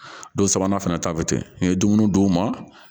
Don sabanan fana ta bɛ kɛ n ye dumuni d'u ma